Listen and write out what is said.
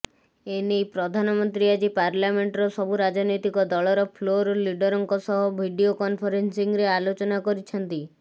ଏନେଇ ପ୍ରଧାନମନ୍ତ୍ରୀ ଆଜି ପାର୍ଲାମେଣ୍ଟର ସବୁ ରାଜନୈତିକ ଦଳର ଫ୍ଲୋର୍ ଲିଡରଙ୍କ ସହ ଭିଡିଓ କନଫରେନ୍ସିଂରେ ଆଲୋଚନା କରିଛନ୍ତି